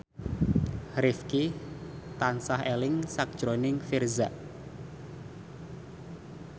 Rifqi tansah eling sakjroning Virzha